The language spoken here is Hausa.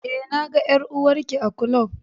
e, na ga ƴar'uwar Ki a ƙlub.